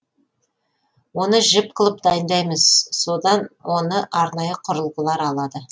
оны жіп қылып дайындаймыз содан оны арнайы құрылғылар алады